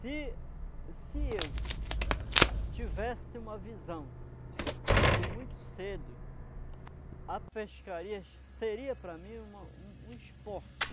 Se se eu tivesse uma visão de muito cedo, a pescaria seria para mim uma um um esporte.